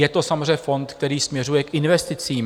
Je to samozřejmě fond, který směřuje k investicím.